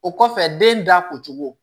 O kɔfɛ den da ko cogo